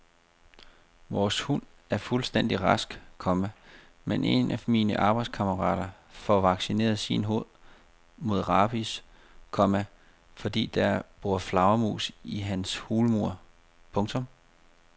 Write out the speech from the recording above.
Vores hund er fuldstændig rask, komma men en af mine arbejdskammerater får vaccineret sin hund mod rabies, komma fordi der bor flagermus i hans hulmur. punktum